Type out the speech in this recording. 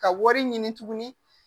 Ka wari ɲini tuguni